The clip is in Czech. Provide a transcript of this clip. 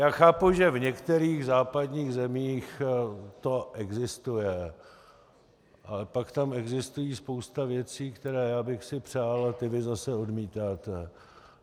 Já chápu, že v některých západních zemích to existuje, ale pak tam existuje spousta věcí, které já bych si přál, a ty vy zase odmítáte.